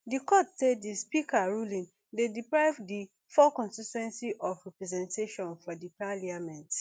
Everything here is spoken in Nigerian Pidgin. di court say di speaker ruling dey deprive di four constituencies of representation for for parliament